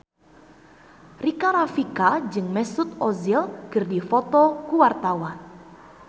Rika Rafika jeung Mesut Ozil keur dipoto ku wartawan